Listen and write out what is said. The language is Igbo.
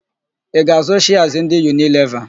Ị ga-àzụ́ shịas ndị Yunileva?